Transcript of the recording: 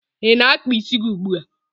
Ị na-akpa isi gi ugbua?